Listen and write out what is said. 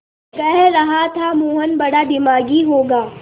कह रहा था मोहन बड़ा दिमागी होगा